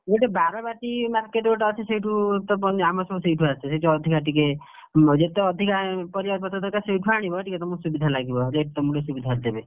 ଗୋଟେ ବାରବାଟୀ market ଗୋଟେ ଅଛି ସେଉଠୁତ ଆମର ସବୁ ସେଉଠୁ ଆସେ ସେଉଠୁ ଅଧିକା, ଟିକେ ଯେତେ ଅଧିକା, ପରିବା ପତର ଦରକାର ସେଇଠୁ ଆଣିବ ଟିକେ ତମକୁ ସୁବିଧା ଲାଗିବ rate ତମକୁ ସୁବିଧା ରେ ଦେବେ।